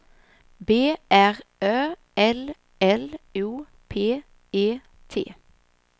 B R Ö L L O P E T